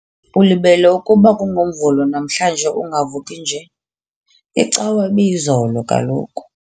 Ulibele ukuba kungoMvulo namhlanje ungavuki nje, iCawa ibiyizolo kaloku.